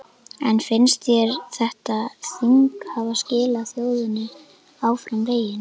En finnst þér þetta þing hafa skilað þjóðinni áfram veginn?